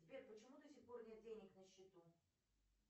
сбер почему до сих пор нет денег на счету